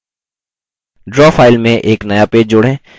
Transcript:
draw file में एक नया पेज जोड़ें